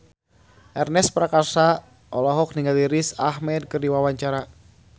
Ernest Prakasa olohok ningali Riz Ahmed keur diwawancara